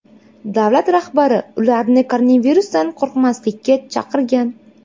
Davlat rahbari ularni koronavirusdan qo‘rqmaslikka chaqirgan.